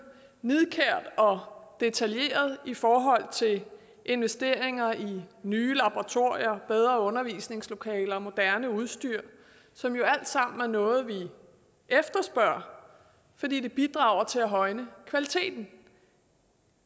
nidkært og detaljeret i forhold til investeringer i nye laboratorier bedre undervisningslokaler og moderne udstyr som jo alt sammen er noget vi efterspørger fordi det bidrager til at højne kvaliteten